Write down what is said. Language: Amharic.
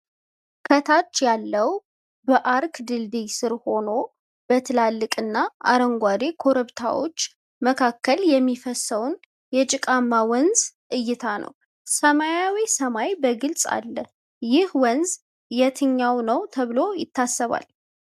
ከታች ያለው በአርክ ድልድይ ስር ሆኖ በትላልቅና አረንጓዴ ኮረብታዎች መካከል የሚፈስሰውን የጭቃማ ወንዝ እይታ ነው። ሰማያዊው ሰማይ በግልጽ አለ። ይህ ወንዝ የትኛው ነው ተብሎ ይታሰባል?